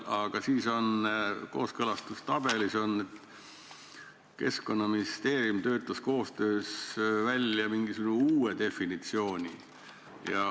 Aga kooskõlastustabelist näeb, et Keskkonnaministeerium töötas koostöös välja uue definitsiooni.